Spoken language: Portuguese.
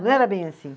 Não era bem assim.